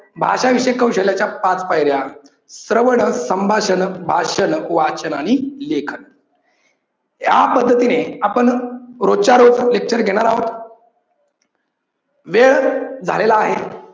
भाषा विषयक कौशल्याच्या पाच पायऱ्या श्रवण, संभाषण, भाषण, वाचान आणि लेखन. या पद्धतीने आपण रोज च्या रोज lecture घेणार आहोत. वेळ झालेला आहे.